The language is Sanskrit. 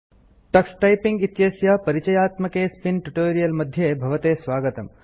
टक्स टाइपिंग इत्यस्य परिचयात्मकेऽस्मिन् ट्यूटोरियल मध्ये भवते स्वागतम्